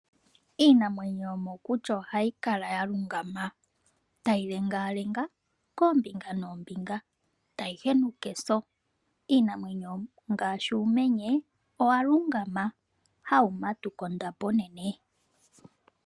Iinamwenyo yomokuti ohayi kala ya lungama tayi lengalenga koombinga noombinga tayi henuka eso. Iinamwenyo ngaashi uumenye owa lungama hawu matuka ondapo onene.